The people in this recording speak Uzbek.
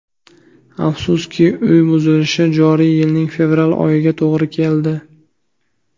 Afsuski, uy buzilishi joriy yilning fevral oyiga to‘g‘ri keldi.